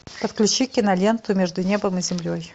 подключи киноленту между небом и землей